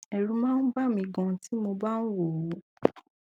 ẹrù máa ń bà mí ganan tí mo bá ń wò ó